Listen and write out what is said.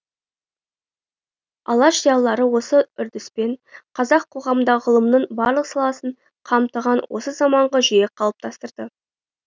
алаш зиялылары осы үрдіспен қазақ қоғамында ғылымның барлық саласын қамтыған осы заманғы жүйе қалыптастырды